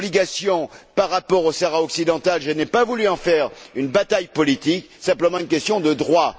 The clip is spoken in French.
Concernant l'obligation par rapport au Sahara occidental, je n'ai pas voulu en faire une bataille politique, simplement une question de droit.